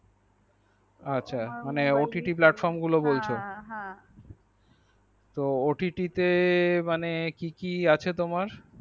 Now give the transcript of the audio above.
ও আচ্ছা ott platform গুলো বলছো তো ott platform টিতে কি কি আছে তোমার।